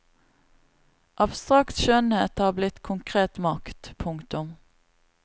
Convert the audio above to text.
Abstrakt skjønnhet har blitt konkret makt. punktum